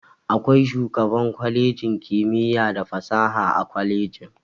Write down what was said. Akwai shugaban kwalejin kimiyya da fasaha a kwalejin.